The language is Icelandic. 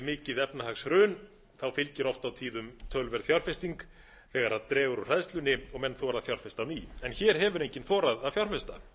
mikið efnahagshrun fylgir oft á tíðum töluverð fjárfesting þegar dregur úr hræðslunni og menn þora að fjárfesta á ný en hér hefur enginn þorað að fjárfesta